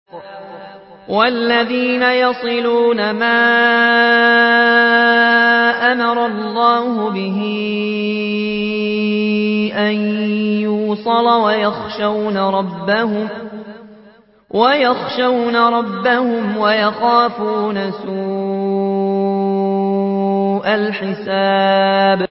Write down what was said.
وَالَّذِينَ يَصِلُونَ مَا أَمَرَ اللَّهُ بِهِ أَن يُوصَلَ وَيَخْشَوْنَ رَبَّهُمْ وَيَخَافُونَ سُوءَ الْحِسَابِ